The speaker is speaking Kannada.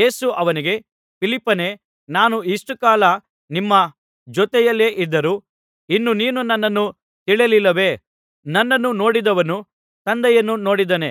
ಯೇಸು ಅವನಿಗೆ ಫಿಲಿಪ್ಪನೇ ನಾನು ಇಷ್ಟು ಕಾಲ ನಿಮ್ಮ ಜೊತೆಯಲ್ಲಿಯೇ ಇದ್ದರೂ ಇನ್ನೂ ನೀನು ನನ್ನನ್ನು ತಿಳಿಯಲಿಲ್ಲವೇ ನನ್ನನ್ನು ನೋಡಿದವನು ತಂದೆಯನ್ನು ನೋಡಿದ್ದಾನೆ